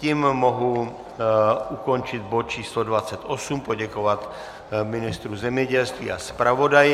Tím mohu ukončit bod číslo 28, poděkovat ministru zemědělství a zpravodaji.